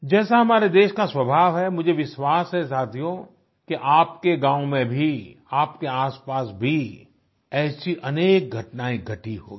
जैसा हमारे देश का स्वाभाव है मुझे विश्वास है साथियो कि आपके गांव में भी आपके आसपास भी ऐसी अनेक घटनाये घटी होंगी